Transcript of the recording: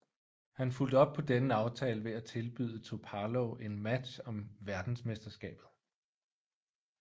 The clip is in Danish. Han fulgte op på denne aftale ved at tilbyde Topalov en match om verdensmesterskabet